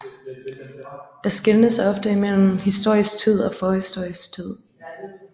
Der skelnes ofte mellem historisk tid og forhistorisk tid